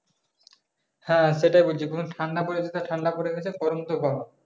হ্যাঁ সেটাই বলছি কোন ঠান্ডা পড়েগেছে ঠান্ডা পড়েগেছে গরম তো গরম।